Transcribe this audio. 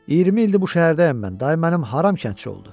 20 ildir bu şəhərdəyəm mən, dayı mənim haram kəndçi oldu.